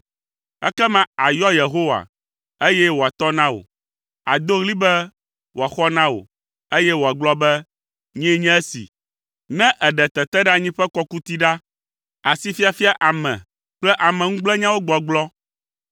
Ekema àyɔ Yehowa, eye wòatɔ na wò. Àdo ɣli be wòaxɔ na wò, eye wòagblɔ be, ‘Nyee nye esi.’ “Ne èɖe teteɖeanyi ƒe kɔkuti ɖa, asifiafia ame kple ameŋugblẽnyawo gbɔgblɔ,